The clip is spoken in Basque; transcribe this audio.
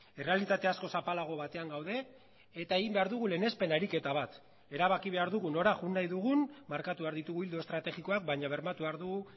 errealitate askoz zapalago batean gaude eta egin behar dugu lehenespen ariketa bat erabaki behar dugu nora joan nahi dugun markatu behar ditugu ildo estrategikoak baina bermatu behar dugu